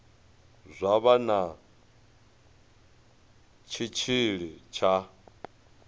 zwa vha na tshitshili tsha